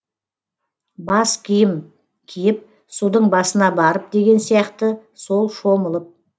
бас киім киіп судың басына барып деген сияқты сол шомылып